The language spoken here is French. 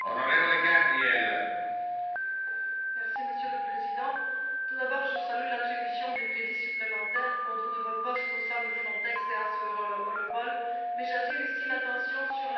Monsieur le Président, tout d'abord, je salue l'attribution des crédits supplémentaires pour de nouveaux postes au sein de Frontex et d'Europol, mais j'attire ici l'attention sur la formation des personnels des agences et des États membres.